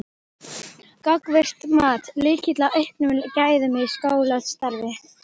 Gagnvirkt mat: Lykill að auknum gæðum í skólastarfi?